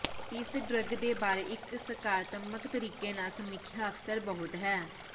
ਇਸ ਡਰੱਗ ਦੇ ਬਾਰੇ ਇੱਕ ਸਕਾਰਾਤਮਕ ਤਰੀਕੇ ਨਾਲ ਸਮੀਖਿਆ ਅਕਸਰ ਬਹੁਤ ਹੈ